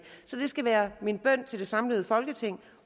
så det skal være min bøn til det samlede folketing